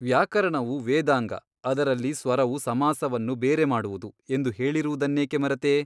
ವ್ಯಾಕರಣವು ವೇದಾಂಗ ಅದರಲ್ಲಿ ಸ್ವರವು ಸಮಾಸವನ್ನು ಬೇರೆ ಮಾಡುವುದು ಎಂದು ಹೇಳಿರುವುದನ್ನೇಕೆ ಮರೆತೆ?